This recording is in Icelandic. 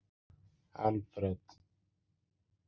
Alfred